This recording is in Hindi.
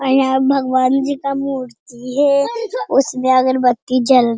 और यहाँ भगवन जी का मूर्ति है और उसमे अगरबत्ती जल --